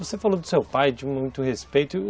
Você falou do seu pai, de muito respeito, e o